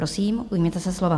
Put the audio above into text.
Prosím, ujměte se slova.